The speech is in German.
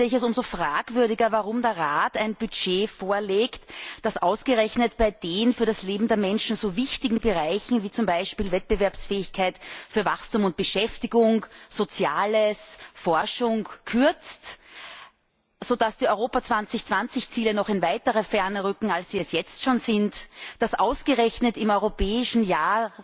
Deshalb finde ich es umso fragwürdiger, warum der Rat ein Budget vorlegt, das ausgerechnet bei den für das Leben der Menschen so wichtigen Bereichen wie zum Beispiel Wettbewerbsfähigkeit, Wachstum und Beschäftigung, Soziales und Forschung kürzt, sodass die Europa 2020 Ziele in noch weitere Ferne rücken als sie es jetzt schon sind, warum ausgerechnet im Europäischen Jahr